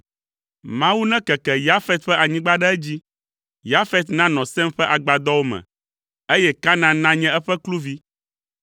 Mawu nekeke Yafet ƒe anyigba ɖe edzi. Yafet nanɔ Sem ƒe agbadɔwo me, eye Kanaan nanye eƒe kluvi.”